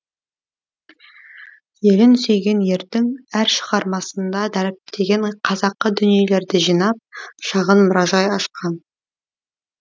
елін сүйген ердің әр шығармасында дәріптеген қазақы дүниелерді жинап шағын мұражай ашқан